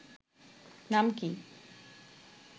নাম কি